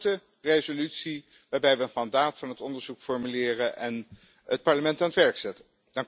Dus een korte resolutie waarin we het mandaat van het onderzoek formuleren en het Parlement aan het werk zetten.